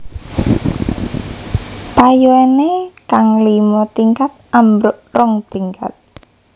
Payoéné kang lima tingkat ambruk rong tingkat